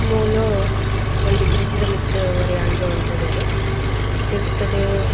ಮೂಲು ಒಂಜಿ ಬ್ರಿಡ್ಜ್ ದ ಮಿತ್ತ್ ಒರಿ ಅಂಜೊವು ಉಂತುದೆರ್ ತಿರ್ತುಡು--